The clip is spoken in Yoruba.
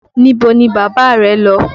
Níbo ni bàbá rẹ́ lọ?